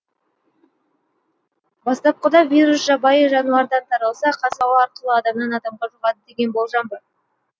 бастапқыда вирус жабайы жануардан таралса қазір ауа арқылы адамнан адамға жұғады деген болжам бар